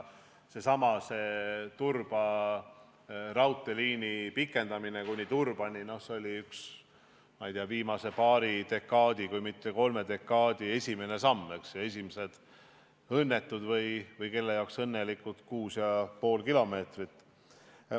Seesama Turba raudteelõigu pikendamine kuni Turbani oli üks viimase paari, kui mitte kolme dekaadi esimene samm, esimesed õnnetud – või kelle jaoks õnnelikud – 6,5 kilomeetrit.